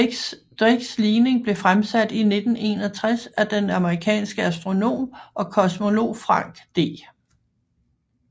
Drakes ligning blev fremsat i 1961 af den amerikanske astronom og kosmolog Frank D